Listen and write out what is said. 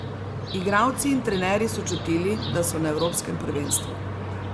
Igralci in trenerji so čutili, da so na evropskem prvenstvu.